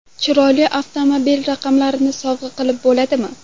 Chiroyli avtomobil raqamlarini sovg‘a qilib bo‘ladimi?.